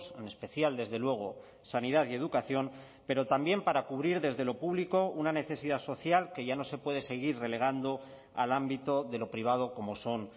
en especial desde luego sanidad y educación pero también para cubrir desde lo público una necesidad social que ya no se puede seguir relegando al ámbito de lo privado como son